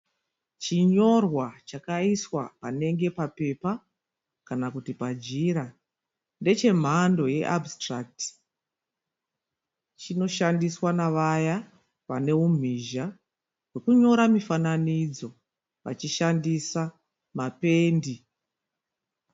Chinyorwa chakaiswa panenge papepa kana kuti pajira. Ndechemhando yeabhusitirakiti. Chinoshandiswa navaya vane umhizha hwekunyora mifananidzo vachishandisa mapendi.